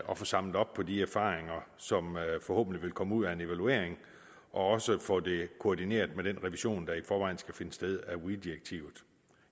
og få samlet op på de erfaringer som forhåbentlig vil komme ud af en evaluering og også få det koordineret med den revision der i forvejen skal finde sted af weee direktivet